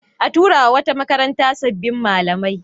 A tura wa wata makaranta sabbin malamai.